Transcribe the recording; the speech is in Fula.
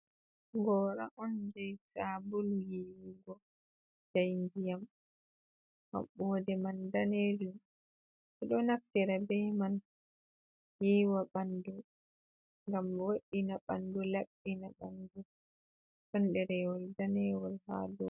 Gora on jei sabulu yiwugo je ndiyam maɓɓode man daneru ɗo naftira bei man yiiwa ɓandu ngam wo'ina ɓandu laɓɓina ɓandu ɗon derewol danewol ha do.